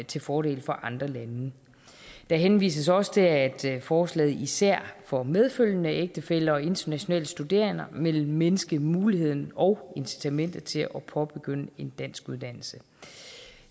til fordel for andre lande der henvises også til at forslaget især for medfølgende ægtefæller og internationale studerende vil mindske muligheden og incitamentet til at påbegynde en dansk uddannelse